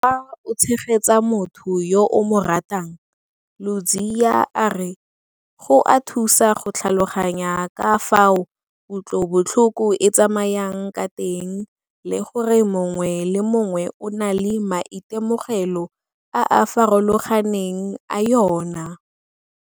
Fa o tshegetsa motho yo o mo ratang, Ludziya a re go a thusa go tlhaloganya ka fao kutlobotlhoko e tsamayang ka teng le gore mongwe le mongwe o na le maitemogelo a a farologaneng a yona.